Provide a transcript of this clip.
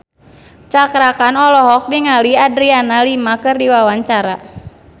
Cakra Khan olohok ningali Adriana Lima keur diwawancara